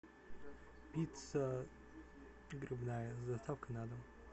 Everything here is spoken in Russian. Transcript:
пицца грибная с доставкой на дом